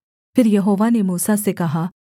फिर यहोवा ने मूसा से कहा